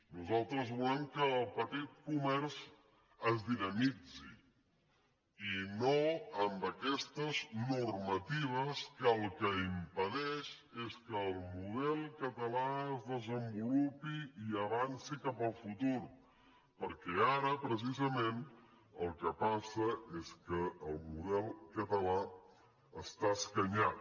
nosaltres volem que el petit comerç es dinamitzi i no amb aquestes normatives que el que impedeixen és que el model català es desenvolupi i avanci cap al futur perquè ara precisament el que passa és que el model català està escanyat